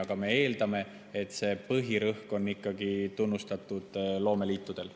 Aga me eeldame, et see põhirõhk on ikkagi tunnustatud loomeliitudel.